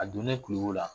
A donnen kulukoro la